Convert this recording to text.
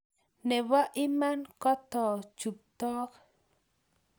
nebo iman, koto chuptook